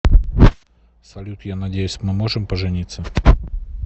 салют я надеюсь мы можем пожениться